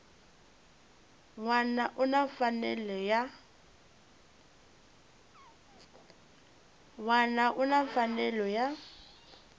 wana u na mfanelo ya